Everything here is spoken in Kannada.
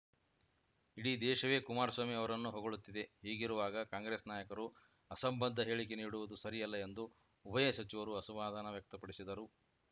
ಇಡೀ ದೇಶವೇ ಕುಮಾರಸ್ವಾಮಿ ಅವರನ್ನು ಹೊಗಳುತ್ತಿದೆ ಹೀಗಿರುವಾಗ ಕಾಂಗ್ರೆಸ್‌ ನಾಯಕರು ಅಸಂಬದ್ಧ ಹೇಳಿಕೆ ನೀಡುವುದು ಸರಿಯಲ್ಲ ಎಂದು ಉಭಯ ಸಚಿವರು ಅಸಮಾಧಾನ ವ್ಯಕ್ತಪಡಿಸಿದರು